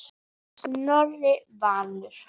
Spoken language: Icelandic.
Snorri Valur.